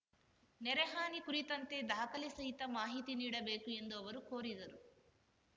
ನೆರೆಹಾನಿ ಕುರಿತಂತೆ ದಾಖಲೆ ಸಹಿತ ಮಾಹಿತಿ ನೀಡಬೇಕು ಎಂದು ಅವರು ಕೋರಿದರು